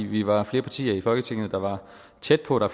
vi var flere partier i folketinget der var tæt på og